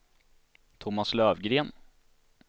Thomas Löfgren